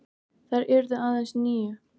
Þær yrðu aðeins níu.